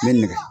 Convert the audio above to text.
N bɛ nɛgɛ